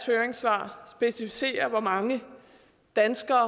høringssvar specificerer hvor mange danske